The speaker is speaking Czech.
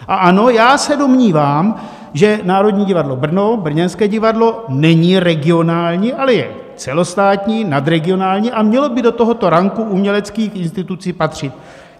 A ano, já se domnívám, že Národní divadlo Brno, brněnské divadlo, není regionální, ale je celostátní, nadregionální, a mělo by do tohoto ranku uměleckých institucí patřit.